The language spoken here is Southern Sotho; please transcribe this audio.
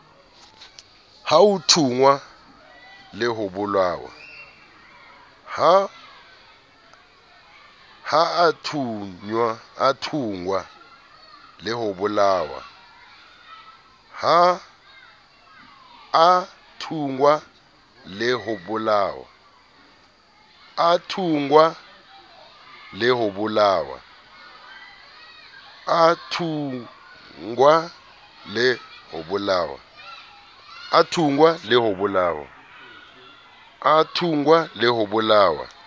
a thunngwa le ho bolawa